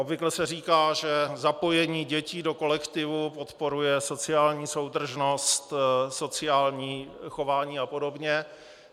Obvykle se říká, že zapojení dětí do kolektivu podporuje sociální soudržnost, sociální chování a podobně.